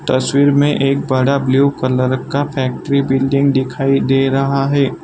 तस्वीर में एक बड़ा ब्लू कलर का फैक्ट्री बिल्डिंग दिखाई दे रहा है।